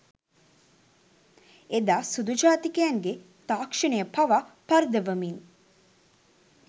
එදා සුදු ජාතිකයන්ගේ තාක්‍ෂණය පවා පරදවමින්